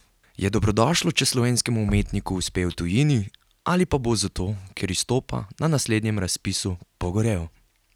Je dobrodošlo, če slovenskemu umetniku uspe v tujini, ali pa bo zato, ker izstopa, na naslednjem razpisu pogorel?